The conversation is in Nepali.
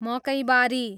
मकैबारी